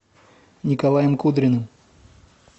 николаем кудриным